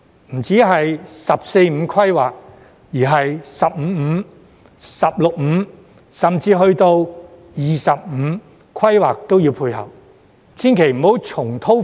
不單是"十四五"規劃，而是"十五五"、"十六五"，甚至是"二十五"規劃都要配合。